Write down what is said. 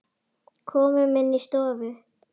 Komum inn í stofu!